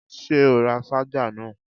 Ṣé o ra ṣájà náà?